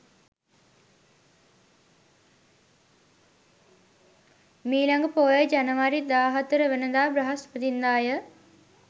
මී ළඟ පෝය ජනවාරි 14 වන දා බ්‍රහස්පතින්දා ය.